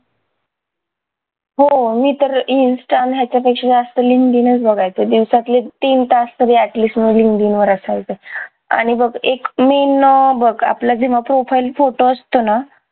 हो मी तर insta न ह्याच्या पेक्षा जास्त linkedin चं बघायचे दिवसातले तीन तास तरी at least linkedin वर असायचे आणि बघ एक मी न बघ आपलं जेव्हा profile photo असतो ना